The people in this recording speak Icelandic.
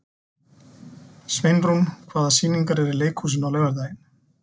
Sveinrún, hvaða sýningar eru í leikhúsinu á laugardaginn?